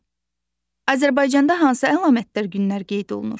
Azərbaycanda hansı əlamətdar günlər qeyd olunur?